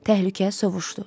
Təhlükə sovuşdu.